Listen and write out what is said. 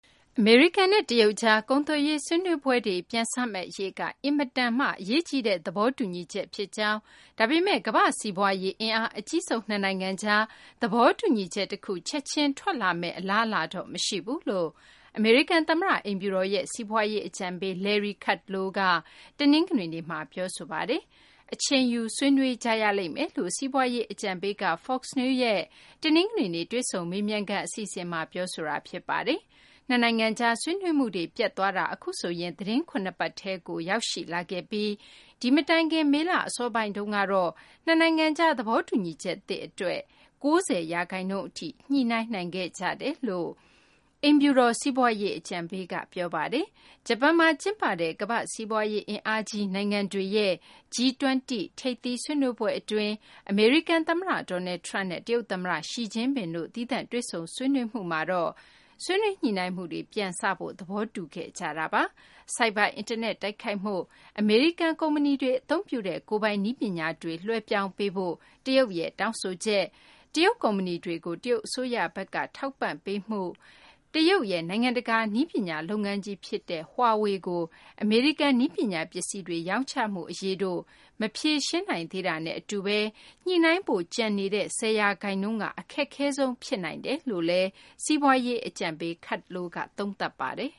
အမေရိကန်နဲ့ တရုတ်ကြား ကုန်သွယ်ရေး ဆွေးနွေးပွဲတွေ ပြန်စမယ့် အရေးက အင်မတန် အရေးကြီးတဲ့ သဘောတူညီချက် ဖြစ်ကြောင်း၊ ဒါပေမယ့် ကမ္ဘာ့ စီးပွားရေး အင်အားအကြီးဆုံး နှစ်နိုင်ငံကြား သဘောတူညီချက် တခု ချက်ချင်းထွက်လာမယ့် အလားအလာတော့ မရှိဘူးလို့ အမေရိကန် သမ္မတ အိမ်ဖြူတော်ရဲ့ စီးပွားရေး အကြံပေး Larry Kudlow က တနင်္ဂနွေနေ့မှာ ပြောဆိုလိုက်ပါတယ်။ အချိန်ယူ ဆွေးနွေးရလိမ့်မယ်လို့ စီးပွားရေး အကြံပေး Kudlow က Fox News ရဲ့ တနင်္ဂနွေနေ့ တွေ့ဆုံမေးမြန်းခန်း အစီအစဉ်မှာ ပြောဆိုခဲ့ပါတယ်။ နှစ်နိုင်ငံကြား ဆွေးနွေးမှုတွေ ပျက်သွားတာ အခုဆိုရင် သီတင်းပတ် ၇ ခုထဲကို ရောက်ရှိလာခဲ့ပြီး ဒီမတိုင်ခင် မေလ အစောပိုင်းတုန်းကတော့ နှစ်နိုင်ငံကြား သဘောတူညီချက်သစ် အတွက် ၉၀ ရာခိုင်နှုန်းထိ ညှိနှိုင်းနိုင်ခဲ့ကြတယ်လို့လည်း အိမ်ဖြူတော် စီးပွားရေး အကြံပေးက ပြောပါတယ်။ ဂျပန်မှာ ကျင်းပတဲ့ ကမ္ဘာ့စီးပွားရေး အင်အားကြီး နိုင်ငံတွေရဲ့ G -20 ထိပ်သီး ဆွေးနွေးပွဲ အတွင်း အမေရိကန် သမ္မတ Donald Trump နဲ့ တရုတ် သမ္မတ Xi Jinping တို့ သီးသန့် တွေ့ဆုံမှုမှာတော့ ဆွေးနွေးညှိနှိုင်းမှုတွေ ပြန်စဖို့ သဘောတူခဲ့ကြပါတယ်။ ဆိုက်ဘာ အင်တာနက် တိုက်ခိုက်မှု၊ အမေရိကန် ကုမ္ပဏီတွေ အသုံးပြုတဲ့ ကိုယ်ပိုင် နည်းပညာတွေကို လွှဲပြောင်းပေးဖို့ တရုတ်ရဲ့ တောင်းဆိုချက်၊ တရုတ် ကုမ္ပဏီတွေကို တရုတ်အစိုးရဘက်က ထောက်ပံ့ပေးမှု၊ တရုတ်ရဲ့ နိုင်ငံတကာ နည်းပညာလုပ်ငန်းကြီး ဖြစ်တဲ့ Huawei ကို အမေရိကန် နည်းပညာ ပစ္စည်းတွေ ရောင်းချမှု အရေးတို့ မဖြေရှင်းနိုင်သေးတာနဲ့ အတူဘဲ ညှိနှိုင်းဖို့ ကျန်ရှိနေတဲ့ ၁၀ ရာခိုင်နှုန်းက အခက်ခဲဆုံး ဖြစ်နိုင်တယ်လို့လည်း စီးပွားရေး အကြံပေး Kudlow က သုံးသပ်ပါတယ်